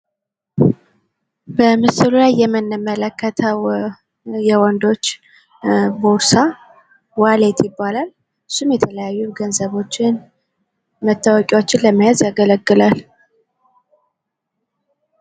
በምስሉ ላይ የምንመለከተዉ የወንዶች ቦርሳ ዋሌት ይባላል። እሱም የተለያዩ መታወቂያዎችን ገንዘቦችን ለመያዝ ያገለግላል።